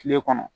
Kile kɔnɔ